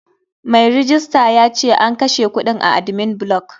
Mai rejista yace an kashe kudin a admin block.